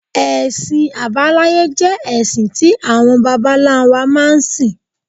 Ẹ̀sìn abáláyé jẹ́ ẹ̀sìn tí àwọn bàbá ńlá wa máa ń sìn.